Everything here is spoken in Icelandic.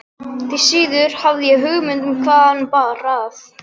Því síður hafði ég hugmynd um hvaðan hana bar að.